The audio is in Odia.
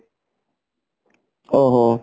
ଓ ହୋ